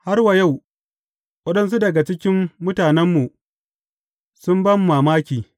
Har wa yau, waɗansu daga cikin matanmu sun ba mu mamaki.